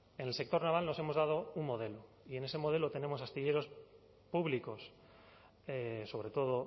en el sector naval nos hemos dado un modelo y en ese modelo tenemos astilleros públicos sobre todo